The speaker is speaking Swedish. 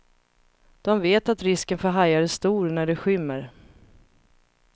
De vet att risken för hajar är stor när det skymmer.